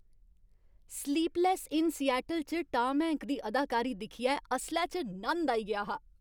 Sleepless in Seattle' च Tom Hank दी अदाकारी दिक्खियै असलै च नंद आई गेआ हा।